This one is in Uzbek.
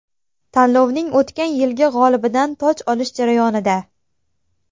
Tanlovning o‘tgan yilgi g‘olibidan toj olish jarayonida.